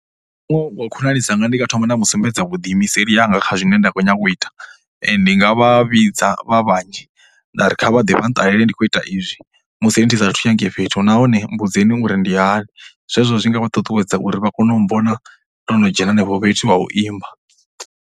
Wa muṅwe wa khonani dzanga ndi nga thoma nda mu sumbedza vhudiimiseli hanga kha zwine nda khou nyanga u ita. Ndi nga vha vhidza vha vhanzhi nda ri kha vha ḓe vha nṱalele ndi kho ita izwi musi ri ndi sathu u ya ngei fhethu nahone mmbudzeni uri ndi hani. Zwezwo zwi nga vha ṱuṱuwedza uri vha kone u mmbona ndo no dzhena henefho fhethu ha u imba.